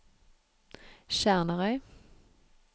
Sjernarøy